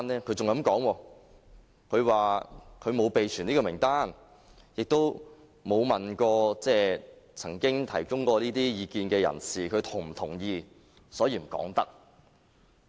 教育局還說沒有備存名單，也不曾詢問曾經提供意見的人士是否同意，所以不能說。